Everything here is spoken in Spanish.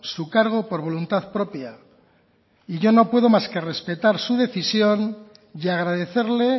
su cargo por voluntad propia y yo no puedo más que respetar su decisión y agradecerle